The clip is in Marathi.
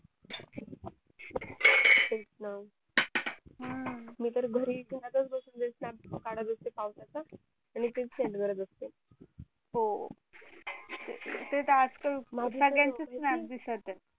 तेच ना हम्म मी तर घरीच घरातच बसून snap काढत असते पावसाचा आणि तेच send करत असते हो ते तर आज काल सगळ्यांचे snap दिसत आहे